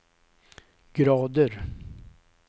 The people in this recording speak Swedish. grader